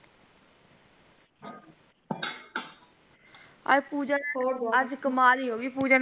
ਅਜ ਪੂਜਾ ਆਜ ਕਮਲ ਹੀ ਹੋ ਗਈ ਪੂਜਾ ਕੀ ।